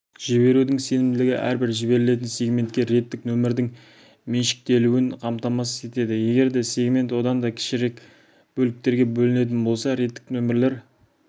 жіберудің сенімділігі әрбір жіберілетін сегментке реттік нөмірдің меншіктелуін қамтамасыз етеді егер сегмент одан да кішірек бөліктерге бөлінетін болса реттік нөмірлер